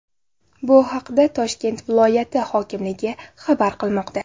Bu haqda Toshkent viloyati hokimligi xabar qilmoqda .